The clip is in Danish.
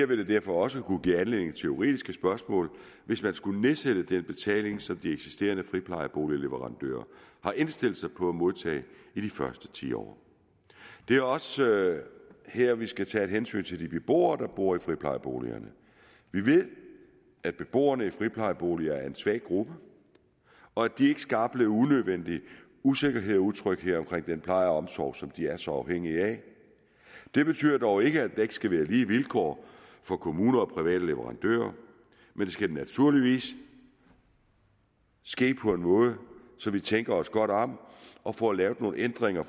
vil det derfor også kunne give anledning til juridiske spørgsmål hvis man skulle nedsætte den betaling som de eksisterende friplejeboligleverandører har indstillet sig på at modtage i de første ti år det er også her vi skal tage et hensyn til de beboere der bor i friplejeboligerne vi ved at beboerne i friplejeboligerne er en svag gruppe og de skal ikke opleve unødvendig usikkerhed og utryghed omkring den pleje og omsorg som de er så afhængig af det betyder dog ikke at der ikke skal være lige vilkår for kommuner og private leverandører men det skal naturligvis ske på en måde så vi tænker os godt om og får lavet nogle ændringer